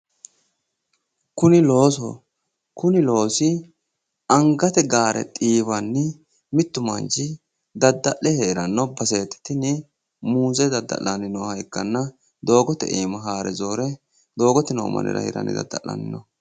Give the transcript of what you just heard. Kuni loososho kuni loosi angate gaare xiiwanni mittu manchi dadda'le heeranno baseeti tini muuze dadda'lannoha ikkanna doogote iima haare zoore doogote noo mannira hiranni dadda'lanno